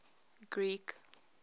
greek